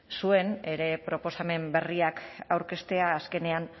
zuen proposamen berriak aurkeztea azkenean